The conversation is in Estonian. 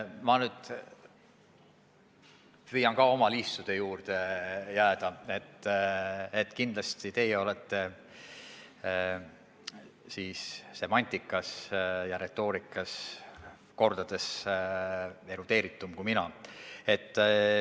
Ma nüüd püüan ka oma liistude juurde jääda, kindlasti teie olete semantikas ja retoorikas kordades erudeeritum kui mina.